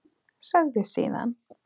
Sagði síðan